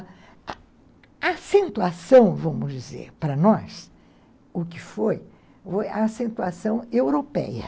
A acentuação, vamos dizer, para nós, o que foi, foi a acentuação europeia.